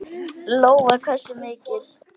Lóa: Hversu mikil?